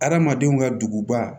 Adamadenw ka duguba